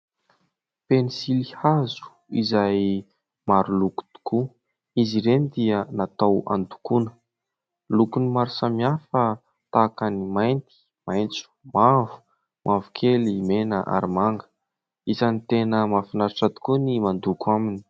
Pensilihazo izay maro loko tokoa. Izy ireny dia natao handokoana. Lokony maro samihafa tahaka ny mainty, maitso, mavokely, mena ary manga. Isany tena mahafinaritra tokoa ny mandoko aminy.